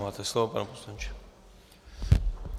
Máte slovo, pane poslanče.